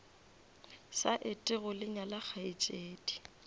sa etego le nyala kgaetšedi